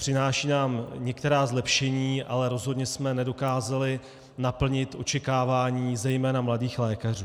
Přináší nám některá zlepšení, ale rozhodně jsme nedokázali naplnit očekávání zejména mladých lékařů.